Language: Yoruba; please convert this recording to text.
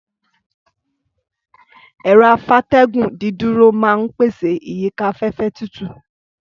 Ẹ̀rọ-afátẹ́gùn dídúró máa ń pèsè ìyíká afẹ́fẹ́ tútù.